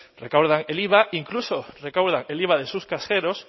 recaudan el iva incluso recaudan el iva